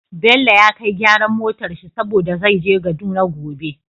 Bello ya kai gyaran motar shi saboda zai je kaduna gobe